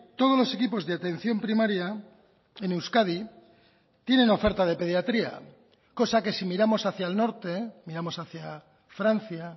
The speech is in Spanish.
todos los equipos de atención primaria en euskadi tienen oferta de pediatría cosa que si miramos hacia el norte miramos hacia francia